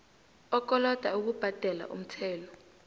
okoloda ukubhadela umthelo